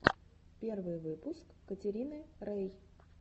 первый выпуск катерины рей